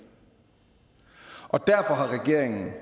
derfor har regeringen